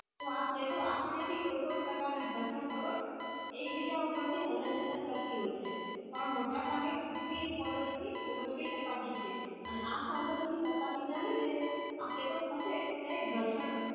તો આ plate અસાનીસી કોઈ પણ પ્રકાર ના જશે આવે એક બીજા તર ટી હલન ચલણ કરતી હોય છે પણ મોટા પાવે પૃથ્વી પાડો થી શકાય જોયી છે અને આઠ ચાંપતા થી છે આ plate ખસે ત્યારે ઘર્ષણ